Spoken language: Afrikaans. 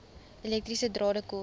elektriese drade kort